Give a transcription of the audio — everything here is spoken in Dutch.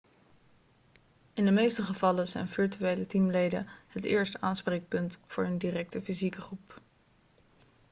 in de meeste gevallen zijn virtuele teamleden het eerste aanspreekpunt voor hun directe fysieke groep